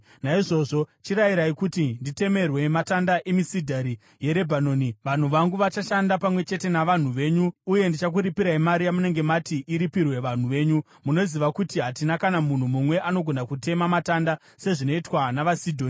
“Naizvozvo chirayirai kuti nditemerwe matanda emisidhari yeRebhanoni. Vanhu vangu vachashanda pamwe chete navanhu venyu uye ndichakuripirai mari yamunenge mati iripirwe vanhu venyu. Munoziva kuti hatina kana munhu mumwe anogona kutema matanda sezvinoitwa navaSidhoni.”